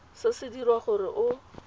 se se dirwa gore o